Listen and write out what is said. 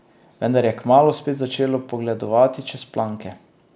Vendar je kmalu spet začela pogledovati čez planke.